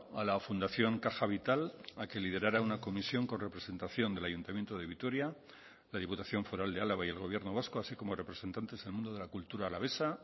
a la fundación caja vital a que liderara una comisión con representación del ayuntamiento de vitoria la diputación foral de álava y el gobierno vasco así como representantes del mundo de la cultura alavesa